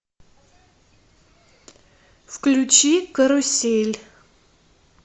включи карусель